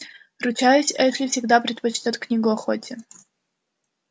ручаюсь эшли всегда предпочтёт книгу охоте